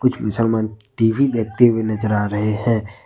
मुसलमान टी_वी देखते हुए नजर आ रहे हैं।